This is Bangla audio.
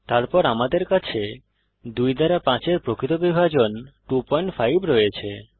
তারপর আমাদের কাছে 2 দ্বারা 5 এর প্রকৃত বিভাজন 250 রয়েছে